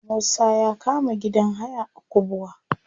Musa ya kama gidan haya a kubwa.